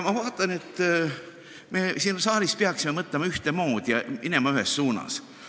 Ma vaatan, et me siin saalis peaksime mõtlema ühtemoodi ja minema ühes suunas.